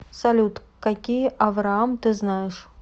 салют какие авраам ты знаешь